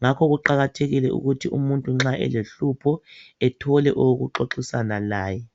ngakho kuqakathekile ukuthi umuntu nxa elehlupho, ethole owokuxoxisana laye.